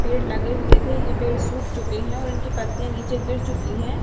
पेड़ लगे हुए थे ये पेड़ सूख चुके हैं और इनकी पत्तियां नीचे गिर चुकी है।